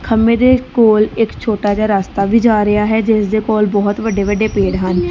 ਖੰਬੇ ਦੇ ਕੋਲ ਇੱਕ ਛੋਟਾ ਜਿਹਾ ਰਸਤਾ ਵੀ ਜਾ ਰਿਹਾ ਹੈ ਜਿਸਦੇ ਕੋਲ ਬਹੁਤ ਵੱਡੇ ਵੱਡੇ ਪੇੜ ਹਨ।